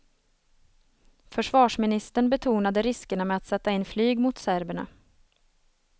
Försvarsministern betonade riskerna med att sätta in flyg mot serberna.